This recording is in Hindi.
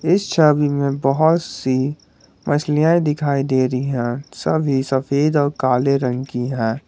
इस छवि में बहुत सी मछलियां दिखाई दे रही है सभी सफेद और काले रंग की है।